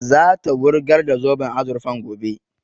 Za ta wurgar da zoben azurfan gobe